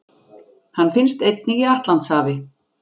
Hann finnst einnig í Atlantshafi.